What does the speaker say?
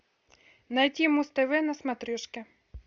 найти муз тв на смотрешке